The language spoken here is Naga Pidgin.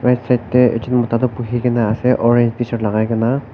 Right side dae ekjun mota tuh buhikena ase aro orange tshirt lagaikena.